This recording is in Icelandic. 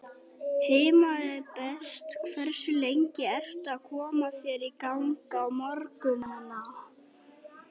Heima er best Hversu lengi ertu að koma þér í gang á morgnanna?